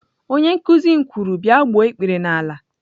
Onye nkuzi m kwuru, bia gbuo ikpere n'ala!